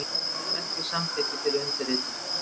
Gaf ekki samþykki fyrir undirritun